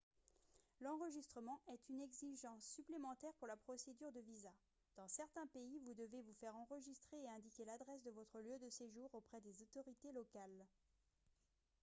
l'enregistrement est une exigence supplémentaire pour la procédure de visa dans certains pays vous devez vous faire enregistrer et indiquer l'adresse de votre lieu de séjour auprès des autorités locales